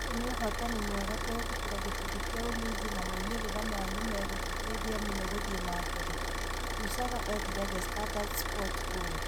ũyũ nĩ ũhootani mwega kũhĩtũkĩra gĩkundi kĩa Ulinzi na moimĩrĩra aya nĩ megũtũteithia mũno gũthiĩ na mbere, Lusaga eerire The Standard Sports ũũ.